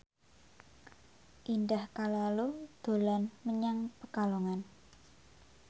Indah Kalalo dolan menyang Pekalongan